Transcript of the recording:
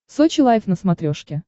сочи лайф на смотрешке